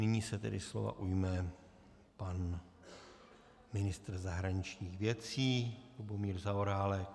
Nyní se tedy slova ujme pan ministr zahraničních věcí Lubomír Zaorálek.